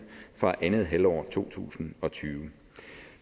fra andet halvår af to tusind og tyve